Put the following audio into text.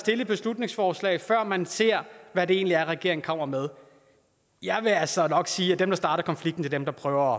et beslutningsforslag før man ser hvad det egentlig er regeringen kommer med jeg vil altså nok sige at dem der starter konflikten er dem der prøver